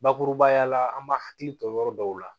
Bakurubaya la an b'a hakili to yɔrɔ dɔw la